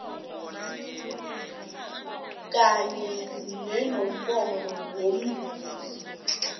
kanye nenomboro yomzuzi